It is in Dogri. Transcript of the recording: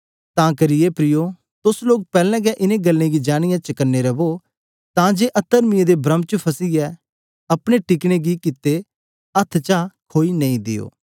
तां करी हे प्रियो तुस लोक पैहले हे च इन गल्ले गी जानियै चकने रवो ताकि अतर्मियों दे भ्रम च फसीयै अपनी पक्की गी कीअते अथ्थ च खोई नां देयो